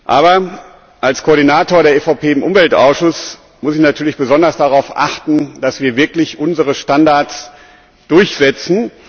Aber als Koordinator der EVP im Umweltausschuss muss ich natürlich besonders darauf achten, dass wir wirklich unsere Standards durchsetzen.